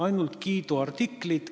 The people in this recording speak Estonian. Ainult kiiduartiklid.